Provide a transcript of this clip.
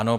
Ano.